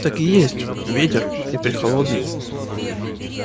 так и есть ветер и прехолодный